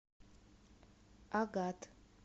агат